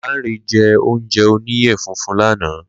Lanre jẹ́ oúnjẹ oníyẹ funfun lánàá